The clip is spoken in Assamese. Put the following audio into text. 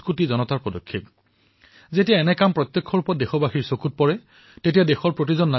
এনে ধৰণৰ ঘটনা সমাজত প্ৰত্যক্ষৰূপত প্ৰদৰ্শিত হলে সকলোৱে আনন্দ পায় সন্তোষ পায় আৰু জীৱনত কিবা এটা নতুন কাম কৰাৰ অনুপ্ৰেৰণা পায়